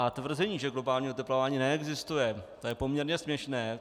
A tvrzení, že globální oteplování neexistuje, to je poměrně směšné.